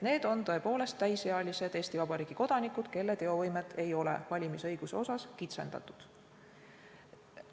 Need on tõepoolest täisealised Eesti Vabariigi kodanikud, kelle teovõimet ei ole valimisõiguse osas kitsendatud.